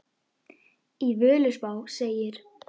Í Völuspá segir